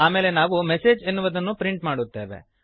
ಆಮೇಲೆ ನಾವು ಎಂಎಸ್ಜಿ ಎನ್ನುವುದನ್ನು ಪ್ರಿಂಟ್ ಮಾಡುತ್ತೇವೆ